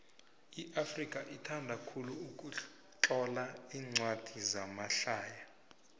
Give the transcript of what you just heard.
iafrika ithanda khulu ukutlola incwadi zamahlaya